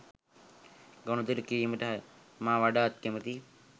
ගනුදෙනු කිරීමට මා වඩාත් කැමතියි